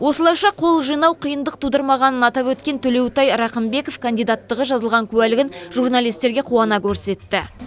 осылайша қол жинау қиындық тудырмағанын атап өткен төлеутай рақымбеков кандидаттығы жазылған куәлігін журналистерге қуана көрсетті